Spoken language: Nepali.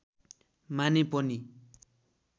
माने पनि